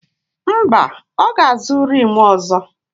Mba, ọ ga-azụ rịmu ọzọ.